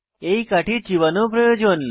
এই কাঠি চিবানো প্রয়োজন